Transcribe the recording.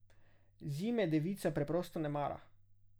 Zime devica preprosto ne mara.